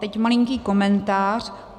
Teď malinký komentář.